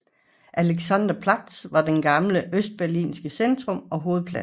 Alexanderplatz var den gamle Østberlins centrum og hovedplads